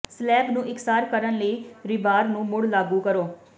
slab ਨੂੰ ਇਕਸਾਰ ਕਰਨ ਲਈ ਰੀਬਾਰ ਨੂੰ ਮੁੜ ਲਾਗੂ ਕਰੋ